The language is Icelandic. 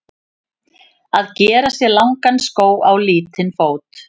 Að gera sér langan skó á lítinn fót